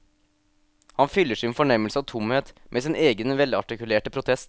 Han fyller sin fornemmelse av tomhet med sin egen velartikulerte protest.